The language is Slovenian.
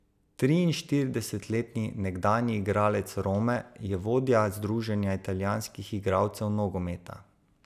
Triinštiridesetletni nekdanji igralec Rome, je vodja združenja italijanskih igralcev nogometa.